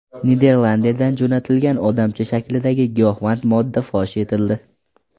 Niderlandiyadan jo‘natilgan odamcha shaklidagi giyohvand modda fosh etildi.